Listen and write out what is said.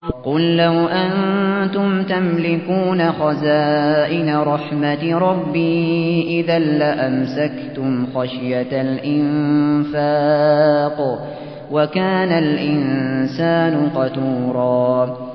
قُل لَّوْ أَنتُمْ تَمْلِكُونَ خَزَائِنَ رَحْمَةِ رَبِّي إِذًا لَّأَمْسَكْتُمْ خَشْيَةَ الْإِنفَاقِ ۚ وَكَانَ الْإِنسَانُ قَتُورًا